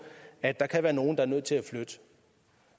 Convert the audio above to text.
at der kan være nogle der er nødt til at flytte